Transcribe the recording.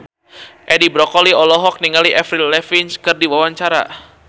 Edi Brokoli olohok ningali Avril Lavigne keur diwawancara